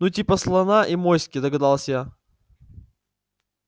ну типа слона и моськи догадалась я